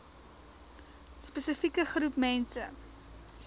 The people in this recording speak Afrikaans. spesifieke groep mense